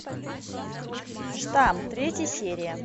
штамм третья серия